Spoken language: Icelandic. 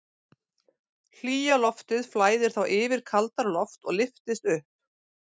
Hlýja loftið flæðir þá yfir kaldara loft og lyftist upp.